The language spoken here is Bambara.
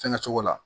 Fɛnkɛ cogo la